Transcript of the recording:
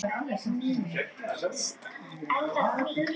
MÍNU. Stela því?